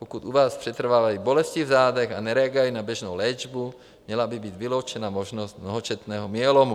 Pokud u vás přetrvávají bolesti v zádech a nereagují na běžnou léčbu, měla by být vyloučena možnost mnohačetného myelomu.